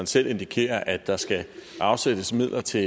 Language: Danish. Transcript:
selv indikerer at der skal afsættes midler til